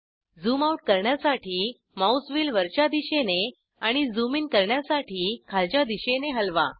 zoom out करण्यासाठी mouse wheel वरच्या दिशेने आणि झूम ईन करण्यासाठी खालच्या दिशेने हलवा